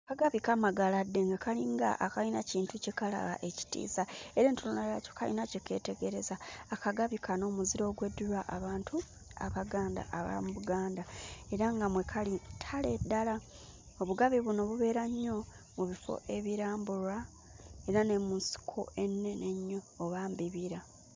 Akagabi kamagaladde nga kalinga akayina ekintu kye kalaba ekitiisa era entunula yaakyo kayina kye keetegereza. Akagabi kano muziro ogw'eddirwa abantu Abaganda ab'omu Buganda era nga mwe kali ttale ddala, Obugabi buno bubeera nnyo mu bifo ebirambulwa era ne mu nsiko ennene ennyo oba mu bibira.